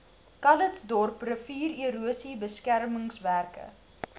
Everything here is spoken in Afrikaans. calitzdorp riviererosie beskermingswerke